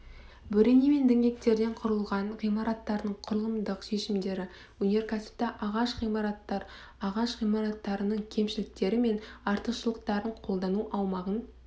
бөрене мен діңгектерден құрылған ғимараттардың құрылымдық шешімдері өнеркәсіпті ағаш ғимараттар ағаш ғимараттарының кемшіліктері мен артықшылықтарын қолдану аумағын